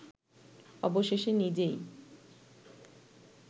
অবশেষে নিজেই